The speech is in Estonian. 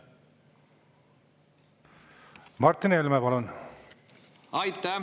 Martin Helme, palun!